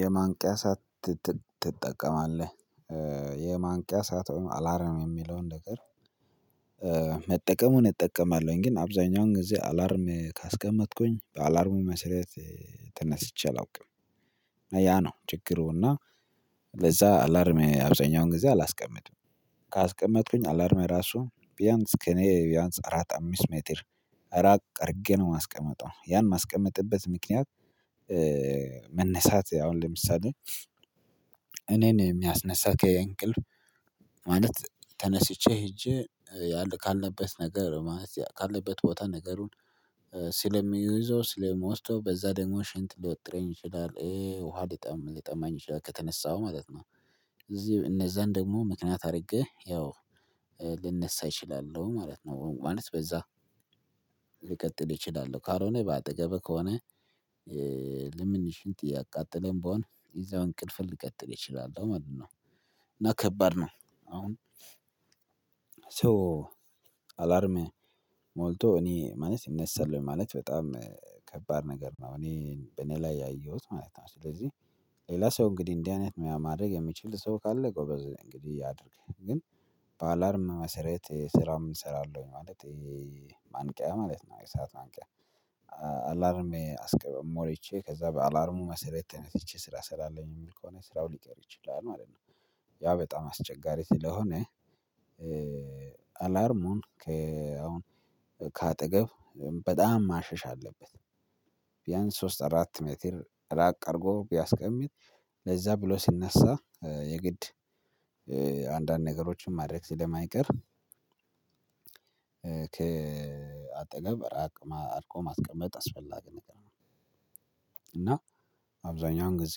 የማንቂያ ሰዓት ትጠቀማለህ የማንቂያ ሰዓት ወይም አላርም የሚለውን ነገር መጠቀሙን እጠቀማለሁኝ ግን አብዛኛውን ጊዜ አላርም ካስቀመጥኩኝ በአላርሙ መሰረት ተነስቼ አላውቅም ያ ነው ችግሩ። እና ለዛ አላርም አብዛኛውን ጊዜ አላስቀምጥም። ካስቀመጥኩኝ አላርሜ ራሱ ቢያንስ ከእኔ ቢያንስ አራት አምስት ሜትር ራቅ አድርጌ ነው የማስቀምጠው ያን የማስቀምጥበት ምክንያት። መነሳት አሁን ለምሳሌ እኔን የሚያስነሳ ከእንቅልፍ ማለት ተነስቼ ሄጄ ካለበት ነገር ማለት ካለበት ቦታ ነገሩን ስለሚይዘው ስለምወስደው በዛ ደግሞ ሽንት ሊወጥረኝ ይችላል ውሃ ሊጠማኝ ይችላል ከተነሳው ማለት ነው። እዚህ እነዛን ደግሞ ምክንያት አድርጌ ያው ልነሳ እችላለሁ ማለት ነው። ማለት በዛ ሊቀጥል እችላለሁ ካልሆነ በአጠገቤ ከሆነ ልምን ሽንት እያቃጠለም ብሆን እዛው እንቅልፌን ልቀጥል እችላለሁ ማለት ነው። እና ከባድ ነው። አሁን ሰው አላርም ሞልቶ እኔ ማለት ይነሳል ማለት በጣም ከባድ ነገር ነው እኔ በእኔ ላይ ያየሁት ማለት ነው። ስለዚህ ሌላ ሰው እንግዲህ እንዲህ አይነት ነገር ማድረግ የምችል ሰው ካለ ጎበዝ እንግዲህ ያድርግ ግን በአላርም መሰረት ስራም እሰራለሁ ማለት። ማንቂያ ማለት ነው የሰዓት ማንቂያ አላርም ሞልቼ ከዛ በአላርሙ መሰረት ተነስቼ ስራ እሰራለሁኝ የሚል ከሆነ ስራው ሊቀር ይችላል ማለት ነው። ያ በጣም አስቸጋሪ ስለሆነ አላርሙን ከአሁን ከአጠገብ በጣም ማሸሽ አለበት። ቢያንስ ሶስት አራት ሜትር ራቅ አድርጎ ቢያስቀምጥ ለዛ ብሎ ሲነሳ የግድ አንዳንድ ነገሮችን ማድረግ ስለማይቀር ከአጠገብ ራቅ አድርጎ ማስቀመጥ አስፈላጊ ነገር ነው። እና አብዛኛውን ጊዜ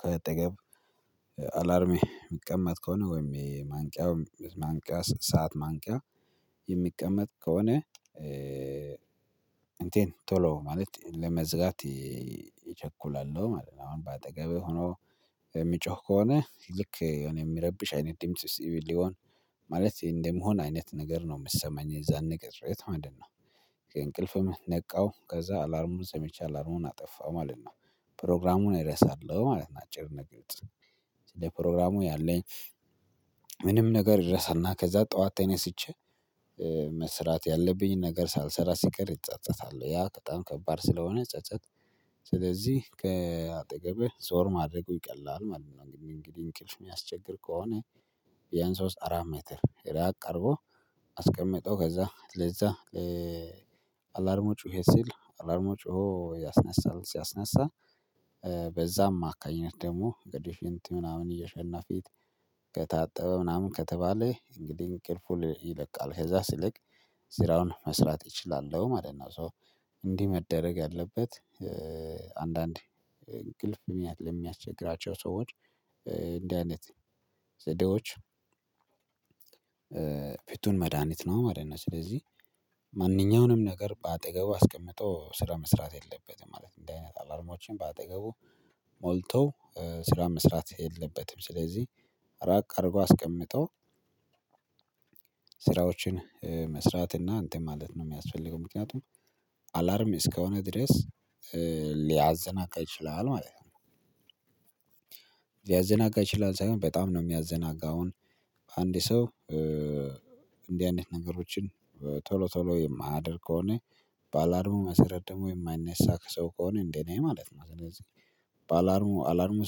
ከአጠገብ አላርም የሚቀመጥ ከሆነ ወይም የማንቂያ ማንቂያ ሰዓት ማንቂያ የሚቀመጥ ከሆነ እንትን ቶሎ ማለት ለመዝጋት ይቸኩላሉ ማለት ነው። አሁን በአጠገብህ ሆኖ የሚጮህ ከሆነ ልክ እኔ የምረብሽ አይነት ድምጽ ሊሆን ማለት እንደመሆን አይነት ነገር ነው የምሰማኝ የዛን ቅጽበት ማለት ነው። ከእንቅልፍም ነቃው ከዛ አላርሙን ሰምቼ አላርሙን አጠፋው ማለት ነው ፕሮግራሙን እረሳለሁ ማለት ነው። አጭር ነገር ግልጽ ስለ ፕሮግራሙ ያለኝ ምንም ነገር እረሳና ከዛ ጠዋት ተነስቼ መስራት ያለብኝን ነገር ሳልሰራ ሲቀር እጸጸታለሁ ያ በጣም ከባድ ስለሆነ ጸጸት ስለዚህ ከአጠገቤ ዞር ማድረጉ ይቀላል ማለት ነው። እንግዲህ እንቅልፍ የሚያስቸግር ከሆነ ያን ሶስት አራት ሜትር ራቅ አድርጎ አስቀምጦ ከዛ ለዛ አላርሙ ጮሄ ሲል አላርሙ ጮሆ ያስነሳል ሲያስነሳ በዛ አማካኝነት ደግሞ ግድፊንቲ ምናምን እየሸና ፊት ከታጠበ ምናምን ከተባለ እንግዲህ እንቅልፉን ይለቃል ከዛ ሲልክ ስራውን መስራት እችላለሁ ማለት ነው። ሶ እንዲህ መደረግ ያለበት አንዳንዴ እንቅልፍ ለሚያስቸግራቸው ሰዎች እንዲህ አይነት ዘዴዎች ፍቱን መድሃኒት ነው ማለት ነው። ስለዚህ ማንኛውንም ነገር በአጠገቡ አስቀምጦ ስራ መስራት የለበትም ማለት እንዲህ አይነት አላርሞችን በአጠገቡ ሞልቶ ስራ መስራት የለበትም። ስለዚህ ራቅ አድርጎ አስቀምጦ ስራዎችን መስራት እና አንተን ማለት ነው የሚያስፈልገው ምክንያቱም አላርም እስከሆነ ድረስ ሊያዘናጋ ይችላል ማለት ነው። ሊያዘናጋ ይችላል ሳይሆን በጣም ነው የሚያዘናጋው አሁን አንድ ሰው እንዲህ አይነት ነገሮችን ቶሎ ቶሎ የማያደርግ ከሆነ በአላርሙ መሰረት ደግሞ የማይነሳ ሰው ከሆነ እንደ እኔ ማለት ነው ስለዚህ በአላርሙ አላርሙ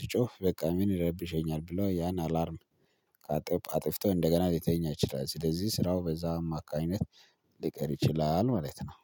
ሲጮህ በቃ ምን ይረብሸኛል ብሎ ያን አላርም አጥፍቶ እንደገና ሊተኛ ይችላል ስለዚህ ስራው በዛ አማካይነት ሊቀር ይችላል ማለት ነው